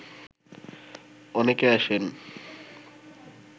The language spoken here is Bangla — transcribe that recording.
অনেকে আসেন